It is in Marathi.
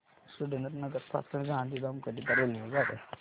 सुरेंद्रनगर पासून गांधीधाम करीता रेल्वेगाड्या